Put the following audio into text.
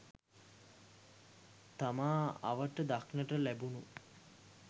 තමා අවට දක්නට ලැබුණු